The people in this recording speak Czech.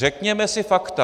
Řekněme si fakta.